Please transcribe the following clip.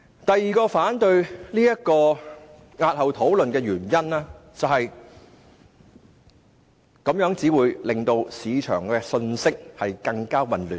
第二個反對押後討論《條例草案》的原因是，此舉會令市場的信息更混亂。